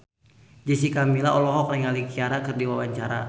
Jessica Milla olohok ningali Ciara keur diwawancara